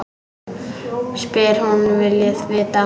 Spyr hvað hún vilji vita.